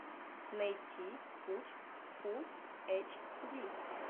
найти путь фулл эйч ди